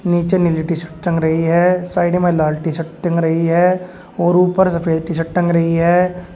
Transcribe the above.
नीचे नीली T shirt टंग रही है साइड में लाल टी शर्ट टंग रही है और ऊपर सफेद टी शर्ट टंग रही है।